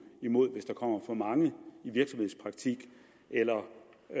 hvis der kommer for mange i virksomhedspraktik eller